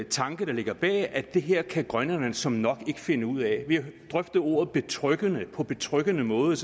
tanke der ligger bag nemlig at det her kan grønlænderne såmænd nok ikke finde ud af vi har drøftet ordet betryggende på betryggende måde